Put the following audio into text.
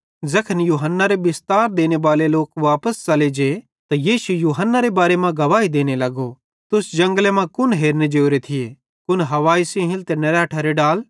ज़ैखन यूहन्नारे बिस्तार देनेबाले लोक वापस च़ले जे त यीशु यूहन्नारे बारे मां गवाही देने लगो तुस जंगले मां कुन हेरने जोरे थिये कुन हवाई सेइं हिलते निरैठरे डाल